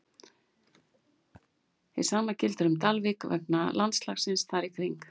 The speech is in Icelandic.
Hið sama gildir um Dalvík vegna landslagsins þar í kring.